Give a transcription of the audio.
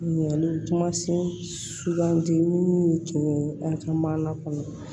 Ɲinɛ u kumasi sugandi minnu y'u to an ka maana kɔnɔ